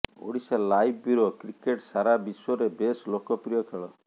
Odisha live bureau cricket ସାରା ବିଶ୍ବରେ ବେଶ ଲୋକପ୍ରିୟ ଖେଳ